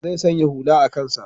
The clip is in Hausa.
Zai sanya hula a kansa.